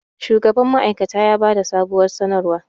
shugaban ma'aikata ya ba da sabuwar sanarwa